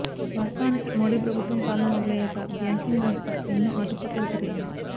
వాస్తవానికి మోడీ ప్రభుత్వం పాలన మొదలయ్యాక బ్యాంకింగ్ వ్యవస్థ ఎన్నో ఆటుపోట్లకు గురయింది